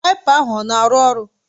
Waịpa ahụ ọ na-arụ ọrụ?